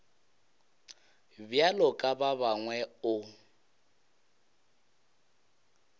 bjalo ka ba bangwe o